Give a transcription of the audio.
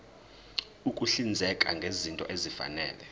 ukuhlinzeka ngezinto ezifanele